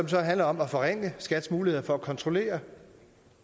så handler om at forringe skats mulighed for at kontrollere